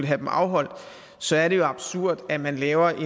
have dem afholdt så er det jo absurd at man laver